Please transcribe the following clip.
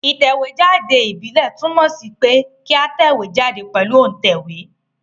Ìtẹ̀wé jáde ìbílè túnmò sí pe kí a tẹ̀wé jáde pèlu òntẹ̀wé